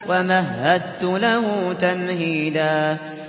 وَمَهَّدتُّ لَهُ تَمْهِيدًا